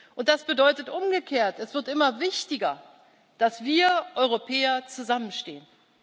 Und das bedeutet umgekehrt Es wird immer wichtiger, dass wir Europäer zusammenstehen.